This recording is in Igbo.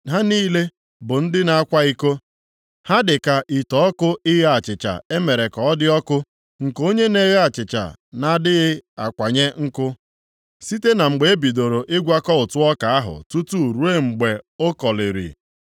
Ha niile bụ ndị na-akwa iko; ha dị ka ite ọkụ ighe achịcha e mere ka ọ dị ọkụ, nke onye na-eghe achịcha na-adịghị akwanye nkụ, site na mgbe e bidoro ịgwakọ ụtụ ọka ahụ tutu ruo mgbe o koliri.